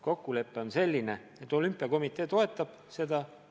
Kokkulepe on selline, et olümpiakomitee toetab eelnõu.